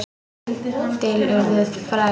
Til urðu fræ.